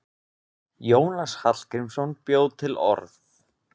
Jónas Hallgrímsson bjó til orð.